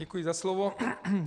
Děkuji za slovo.